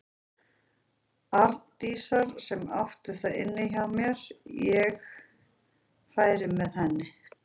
Arndísar sem átti það inni hjá mér að ég færi með henni.